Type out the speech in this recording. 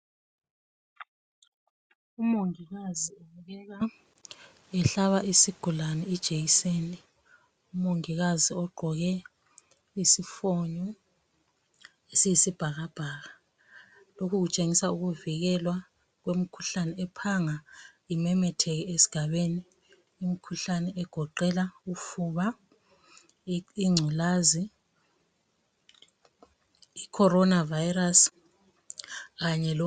Umongikazi ubukeka ehlaba isigulane ijekiseni. Umongikazi ugqoke isifonyo esiyisibhakabhaka. Lokhu kutshengisa ukuvikelwa kwemikhuhlane ephanga imemetheke esigabeni imkhuhlane egoqela ufuba, ingculazi, icorona virus kanye lo